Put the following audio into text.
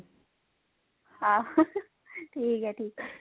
ਹਾਂ ਠੀਕ ਹੈ ਠੀਕ ਹੈ